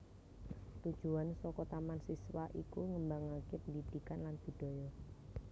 Tujuan saka Taman Siswa iku ngembangaké pendhidhikan lan budhaya